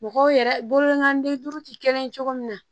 Mɔgɔw yɛrɛ bolokanden duuru tɛ kelen ye cogo min na